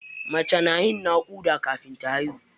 Mace na yin naƙuda kafin ta haihu.